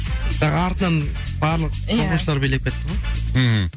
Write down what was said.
бірақ артынан барлық оқушылар билеп кетті ғой мхм